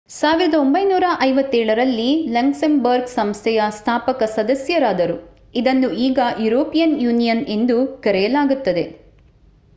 1957 ರಲ್ಲಿ ಲಕ್ಸೆಂಬರ್ಗ್ ಸಂಸ್ಥೆಯ ಸ್ಥಾಪಕ ಸದಸ್ಯರಾದರು ಇದನ್ನು ಈಗ ಯುರೋಪಿಯನ್ ಯೂನಿಯನ್ ಎಂದು ಕರೆಯಲಾಗುತ್ತದೆ